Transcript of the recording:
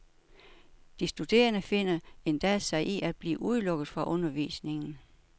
De studerende finder endda sig i at blive udelukket fra undervisningen.